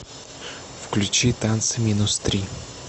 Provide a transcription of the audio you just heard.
включи танцы минус три